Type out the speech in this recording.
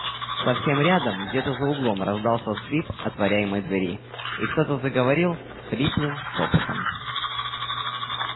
совсем рядом где-то за углом раздался скрип отворяемой двери и кто-то заговорил хриплым шёпотом